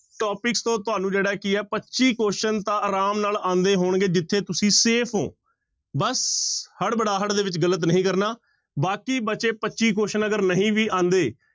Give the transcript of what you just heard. Topics ਤੋਂ ਤੁਹਾਨੂੰ ਜਿਹੜਾ ਕੀ ਹੈ ਪੱਚੀ question ਤਾਂ ਆਰਾਮ ਨਾਲ ਆਉਂਦੇ ਹੋਣਗੇ ਜਿੱਥੇ ਤੁਸੀਂ safe ਹੋ ਬਸ ਹੜਬੜਾਹਟ ਦੇ ਵਿੱਚ ਗ਼ਲਤ ਨਹੀਂ ਕਰਨਾ, ਬਾਕੀ ਬਚੇ ਪੱਚੀ question ਅਗਰ ਨਹੀਂ ਵੀ ਆਉਂਦੇ